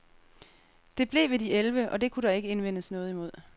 Det blev ved de elleve , og det kunne der ikke indvendes noget imod.